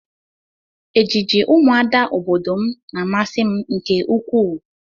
Ejiji ụmụada obodo m na-amasị m nke ukwuu